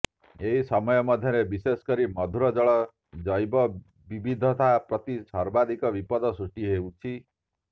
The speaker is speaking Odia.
ଏହି ସମୟ ମଧ୍ୟରେ ବିଶେଷକରି ମଧୁରଜଳ ଜୈବବିବିଧତା ପ୍ରତି ସର୍ବାଧିକ ବିପଦ ସୃଷ୍ଟି ହୋଇଛି